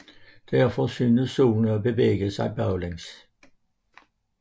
Derfor synes Solen at bevæge sig baglæns